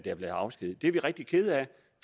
er blevet afskediget det er vi rigtig kede af